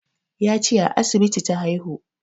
Ya ce a asibiti ta haihu